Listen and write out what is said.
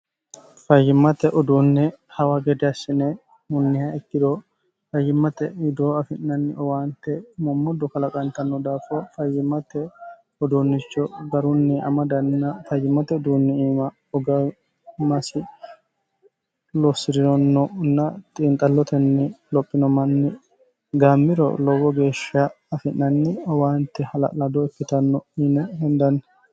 fayyimmate uduunne hawa gede assine hunniha ikkiro fayyimmate widoo afi'nanni owaante moommoddo kalaqantanno daafo fayyimate uduunnicho garunni amadanna fayyimmate uduunni iima ugamasi losi'rironnonna xiinxallotenni lophino manni gaammiro lowo geeshsha afi'nanni owaante hala'lado ikkitanno yine hindanni